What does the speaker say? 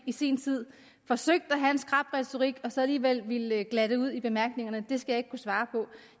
i sin tid forsøgt at have en skrap retorik og så alligevel ville glatte ud i bemærkningerne skal jeg ikke kunne svare på